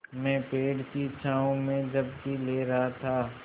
मैं पेड़ की छाँव में झपकी ले रहा था